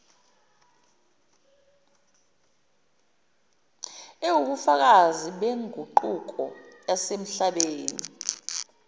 eziwubufakazi beguquko yasemhlabeni